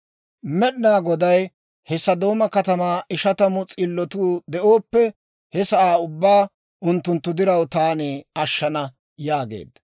Med'inaa Goday, «He Sodooma kataman ishatamu s'illotuu de'ooppe, he sa'aa ubbaa unttunttu diraw taani ashshana» yaageedda.